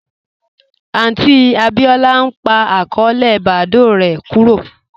Aunti Abíọlá n pa akọọlẹ Badoo rè kúrò